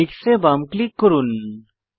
mix এ বাম click করুন